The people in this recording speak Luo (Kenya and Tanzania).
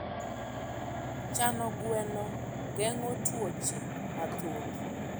chano gweno geng`o tuoche mathoth